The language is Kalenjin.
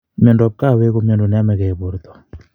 Mioindap kawek ko miondo neamekei borto